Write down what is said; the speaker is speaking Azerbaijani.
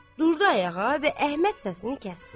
durdu ayağa və Əhməd səsini kəsdi.